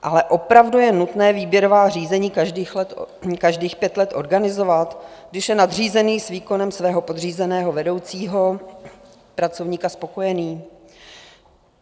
Ale opravdu je nutné výběrová řízení každých pět let organizovat, když je nadřízený s výkonem svého podřízeného vedoucího pracovníka spokojený?